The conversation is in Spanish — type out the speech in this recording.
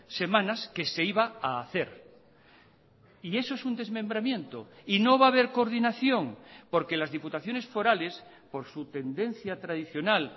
semanas que se iba a hacer y eso es un desmembramiento y no va a haber coordinación porque las diputaciones forales por su tendencia tradicional